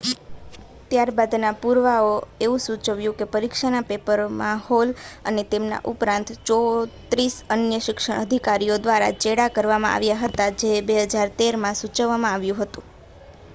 ત્યાર બાદનાં પુરાવાંએ એવું સૂચવ્યું કે પરીક્ષાના પેપરમાં હૉલ અને તેમના ઉપરાંત 34 અન્ય શિક્ષણ અધિકારીઓ દ્વારા ચેડાં કરવામાં આવ્યા હતા, જે 2013 માં સૂચવવામાં આવ્યું હતું